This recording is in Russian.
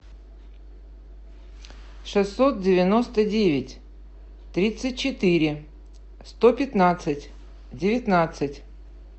шестьсот девяносто девять тридцать четыре сто пятнадцать девятнадцать